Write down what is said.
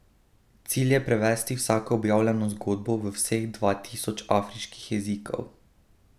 Cilj je prevesti vsako objavljeno zgodbo v vseh dva tisoč afriških jezikov.